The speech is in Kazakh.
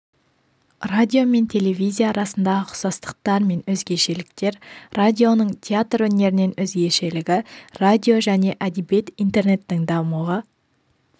радио мен телевизия арасындағы ұқсастықтар мен өзгешеліктер радионың театр өнерінен өзгешелігі радио және әдебиет интернеттің дамуы